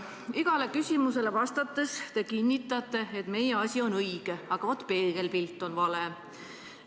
Igale küsimusele vastates te kinnitate, et meie asi on õige, aga vaat peegelpilt on vale.